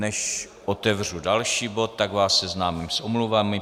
Než otevřu další bod, tak vás seznámím s omluvami.